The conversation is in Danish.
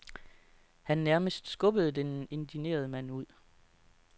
Han nærmest skubbede den indignerede mand ud.